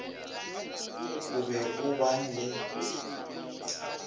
o be o ban le